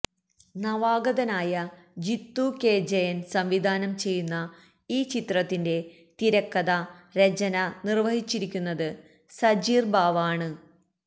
നവാഗതനായ ജിത്തു കെ ജയൻ സംവിധാനം ചെയ്യുന്ന ഈ ചിത്രത്തിന്റെ തിരക്കഥാ രചന നിർവഹിച്ചിരിക്കുന്നത് സജീർ ബാവ ആണ്